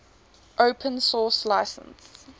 open source license